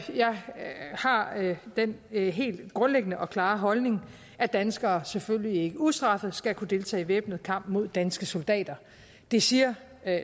har den helt grundlæggende og klare holdning at danskere selvfølgelig ikke ustraffet skal kunne deltage i væbnet kamp mod danske soldater det siger